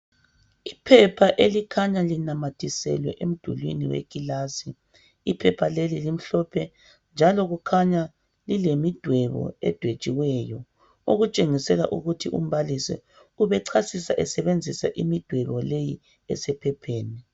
Iphepha elikhanya linamathiselwe emdulwini wekilasi iphepha leli limhlophe njalo kukhanya lilemidwebo edwetshiweyo okutshengisela ukuthi umbalisi ubechasisa esebenzisa imidwebo leyi esephepheni.